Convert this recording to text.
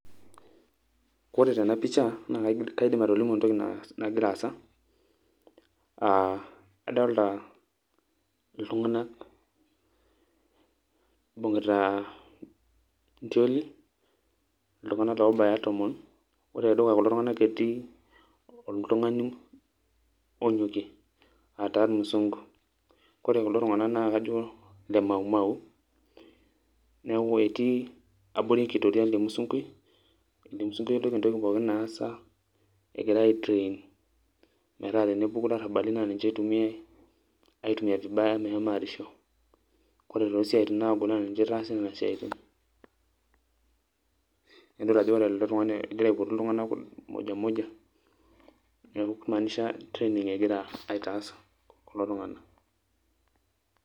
Kore tena picha, na kaidim atolimu entoki nagira aasa. Ah adolta iltung'anak ibung'ita intioli, iltung'anak obaya tomon, ore tedukuya kulo tung'anak etii oltung'ani onyokie, ataa irmusunku. Ore kulo tung'anak na kajo, le Mau Mau. Neeku etii abori enkitoria ele musunkui, ele musunkui ejoki entoki pookin naasa, egirai ai train ,metaa tenepuku ilarrabali na ninche itumiai, aitumia vibaya meshomo arisho. Kore tosiaitin nagol, na ninche itaasi nena siaitin. Nidol ajo ore ele tung'ani egira aipotu iltung'anak moja moja, neeku kimaanisha training egira aitaas kulo tung'anak.